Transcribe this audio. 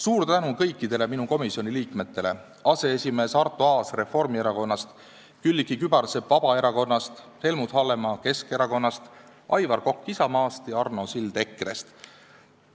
Suur tänu kõikidele minu komisjoni liikmetele: aseesimees Arto Aasale Reformierakonnast, Külliki Kübarsepale Vabaerakonnast, Helmut Hallemaale Keskerakonnast, Aivar Kokale Isamaast ja Arno Sillale EKRE-st.